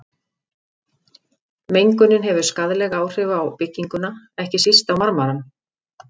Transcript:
Mengunin hefur skaðleg áhrif á bygginguna, ekki síst á marmarann.